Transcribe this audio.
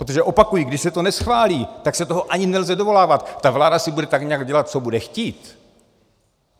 Protože opakuji, když se to neschválí, tak se toho ani nelze dovolávat, ta vláda si bude tak nějak dělat, co bude chtít.